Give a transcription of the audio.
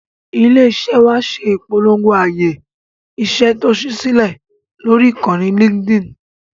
Ilé-iṣẹ́ wa ṣe ìpolongo ààyè iṣẹ́ tó ṣí sílẹ̀ lórí ìkànnì Linkedin.